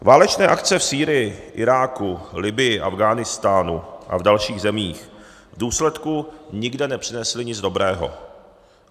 Válečné akce v Sýrii, Iráku, Libyi, Afghánistánu a v dalších zemích v důsledku nikde nepřinesly nic dobrého.